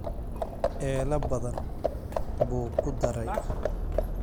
ela badan buu ku daray